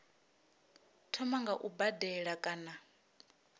thoma nga u badela kana